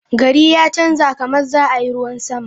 Gari ya chanja/ kamar za a yi ruwan sama.